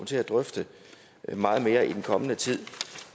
til at drøfte meget mere i den kommende tid